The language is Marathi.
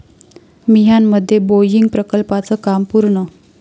मिहानमध्ये बोईंग प्रकल्पाचं काम पूर्ण